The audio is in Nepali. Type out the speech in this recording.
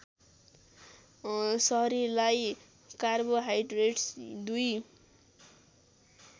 शरीरलाई कार्बोहाइड्रेट्स दुई